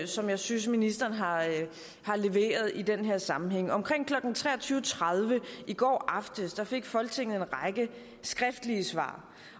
som jeg synes ministeren har leveret i den her sammenhæng omkring klokken tre og tyve tredive i går aftes fik folketinget en række skriftlige svar